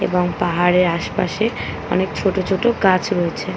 এবং পাহাড়ের আশপাশে অনেক ছোট ছোট গাছ রয়েছে ।